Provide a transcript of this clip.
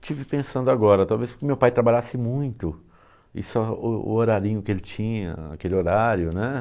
estive pensando agora, talvez porque meu pai trabalhasse muito, e só o o horarinho que ele tinha, naquele horário, né?